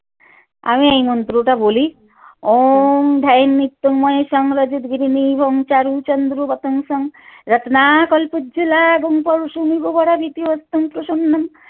আমি এই মন্ত্রটা বলি